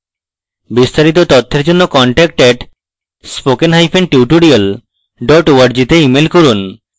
বিস্তারিত তথ্যের জন্য contact @spokentutorial org তে ইমেল করুন